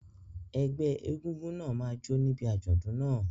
Ẹgbẹ́ egúngún náà máa jó níbi àjọ̀dún náà.